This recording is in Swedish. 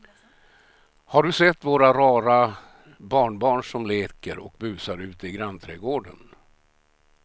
Har du sett våra rara barnbarn som leker och busar ute i grannträdgården!